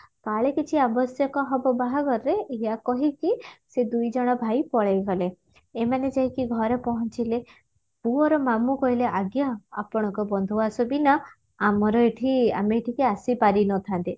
କାଳେ କିଛି ଆବଶ୍ୟକ ହବ ବାହାଘରରେ ଏଇଆ କହିକି ସେ ଦୁଇଜଣ ଭାଇ ପଳେଇଗଲେ ଏମାନେ ଯାଇକି ଘରେ ପହଞ୍ଚିଲେ ପୁଅର ମାମୁଁ କହିଲେ ଆଜ୍ଞା ଆପଣଙ୍କ ବନ୍ଧୁଆସ ବିନା ଆମର ଏଠି ଆମେ ଏଠିକି ଆସିପାରିନଥାନ୍ତେ